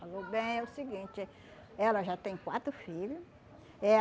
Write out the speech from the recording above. Falou, bem, é o seguinte, ela já tem quatro filho. Eh